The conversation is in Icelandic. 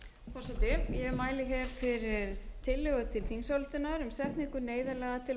forseti ég mæli hér fyrir tillögu til þingsályktunar um setningu neyðarlaga til